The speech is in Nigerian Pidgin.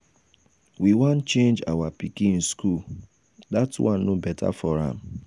we wan change our pikin school dat one no beta for am.